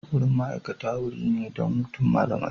Wurin ma'aikata wuri ne don hutun malamai.